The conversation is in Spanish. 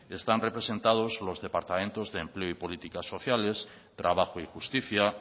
están representados los departamentos de empleo y política sociales trabajo y justicia